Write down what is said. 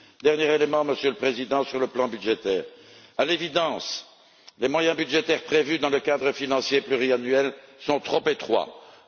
Dernier élément, Monsieur le Président, sur le plan budgétaire, à l'évidence, les moyens budgétaires prévus dans le cadre financier pluriannuel sont insuffisants.